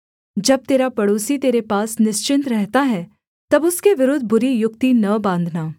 जब तेरा पड़ोसी तेरे पास निश्चिन्त रहता है तब उसके विरुद्ध बुरी युक्ति न बाँधना